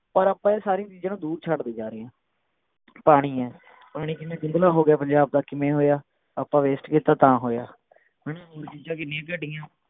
ਪਰ ਆਪਾਂ ਉਹ ਸਾਰੀ ਚੀਜਾਂ ਨੂੰ ਦੂਰ ਛੱਡਦੇ ਜਾ ਰਹੇ ਹੈ ਪਾਣੀ ਹੈ ਪਾਣੀ ਕਿੰਨਾ ਗੰਦਲਾ ਹੋ ਗਿਆ ਪੰਜਾਬ ਦਾ ਕਿਵੇਂ ਹੋਇਆ ਆਪਾਂ waste ਕੀਤਾ ਤਾਂ ਹੋਇਆ ਹਮ ਕਿੰਨੀਆਂ ਘਟਿਆਂ